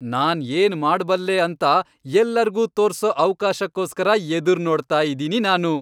ನಾನ್ ಏನ್ ಮಾಡ್ಬಲ್ಲೆ ಅಂತ ಎಲ್ಲರ್ಗೂ ತೋರ್ಸೋ ಅವ್ಕಾಶಕ್ಕೋಸ್ಕರ ಎದುರ್ನೋಡ್ತಾ ಇದೀನಿ ನಾನು.